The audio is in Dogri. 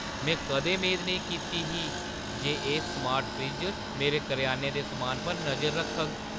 में कदें मेद नेईं कीती ही जे एह् स्मार्ट फ्रिज्ज मेरे करेआने दे समानै पर नजर रखग।